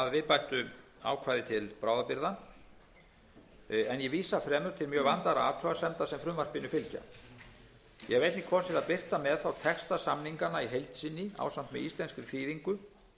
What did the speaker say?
að viðbættu ákvæði til bráðabirgða en vísa fremur til mjög vandaðra athugasemda sem frumvarpinu fylgja ég hef einnig kosið að birta með því texta samninganna í heild sinni ásamt íslenskri þýðingu